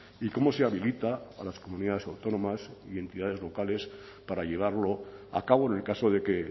y cómo se habilita a las comunidades autónomas y entidades locales para llevarlo a cabo en el caso de que